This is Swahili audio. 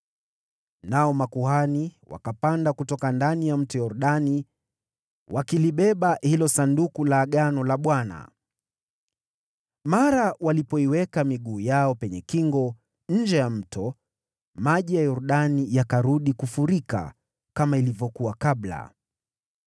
Nao makuhani wakapanda kutoka ndani ya Mto Yordani wakilibeba hilo Sanduku la Agano la Bwana . Mara tu walipoiweka miguu yao penye kingo, nje ya mto, maji ya Yordani yakarudi kufurika kama ilivyokuwa kabla.